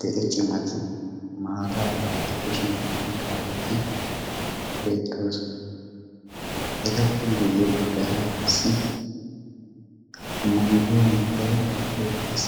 dere cimati maataa bantta kushiyan oyqqaageeti beettoosona. etappe guyye paggaara qassi mangguwa mittay beettees.